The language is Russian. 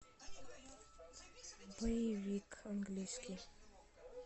боевик английский